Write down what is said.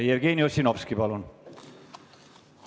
Jevgeni Ossinovski, palun!